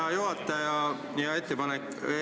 Hea juhataja!